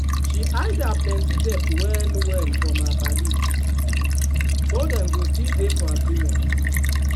she hide her plenty debt well well from her paddies so dem go still dey for agreement.